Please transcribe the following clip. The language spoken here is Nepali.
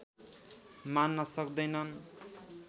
मान्न सक्दैनन्